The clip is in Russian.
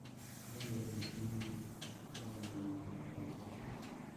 как вернуть деньги отправленные не на тот номер